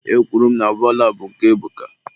Ekwuru m na bọọlụ a bụ nke Ebuka.